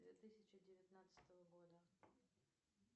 две тысячи девятнадцатого года